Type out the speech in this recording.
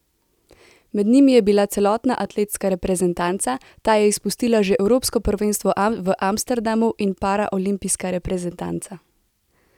Med njimi je bila celotna atletska reprezentanca, ta je izpustila že evropsko prvenstvo v Amsterdamu, in paraolimpijska reprezentanca.